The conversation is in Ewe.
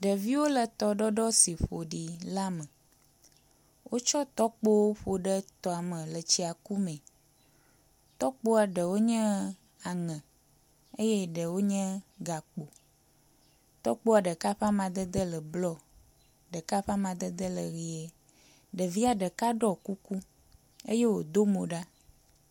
Ɖeviwo le tɔɖɔɖɔ si ƒoɖi la me. Wotsɔ tɔkpowo ƒoɖe tɔ me le tsi ku mee. Tɔkpa ɖewo nye aŋe eye ɖɖewo nye gakpo. Tɔkpoa ɖeka ƒe amaded ele blɔ, ɖeka ƒe amadede le ʋi. Ɖevia ɖeka ɖɔ kuku eye wodo mo ɖa.